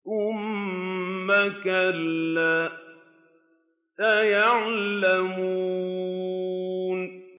ثُمَّ كَلَّا سَيَعْلَمُونَ